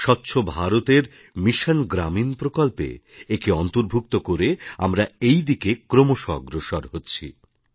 স্বচ্ছ ভারতের মিশন গ্রামীণ প্রকল্পে একে অন্তর্ভুক্ত করে আমরা এই দিকে ক্রমশঃ অগ্রসর হচ্ছি